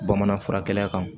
Bamanan furakɛla kan